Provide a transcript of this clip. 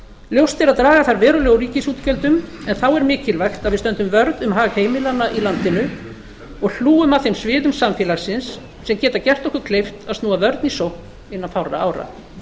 ljóst er að draga þarf verulega úr ríkisútgjöldum en þá er mikilvægt að við stöndum vörð um hag heimilanna í landinu og hlúum að þeim sviðum samfélagsins sem geta gert okkur kleift að snúa vörn í sókn innan fárra ára